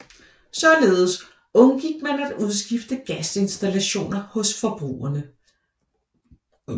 Således undgik man at udskifte gasinstallationer hos forbrugerne